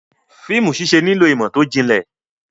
Fíìmù ṣíṣẹ nílò ìmọ̀ tó jinlẹ̀.